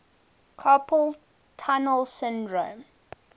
carpal tunnel syndrome